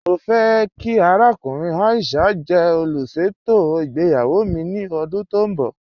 Mọ fẹ̀ kí àràkùnrìn Aisha jẹ́ olúṣetò ìgbéyàwó mi ni ọdún tó nbọ̀.